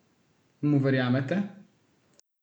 Mu verjamete?